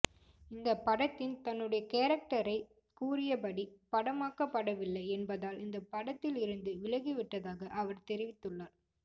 இந்த படத்தின் தன்னுடைய கேரக்டரை கூறியபடி படமாக்கப்படவில்லை என்பதால் இந்த படத்தில் இருந்து விலகி விட்டதாக அவர் தெரிவித்துள்ளார்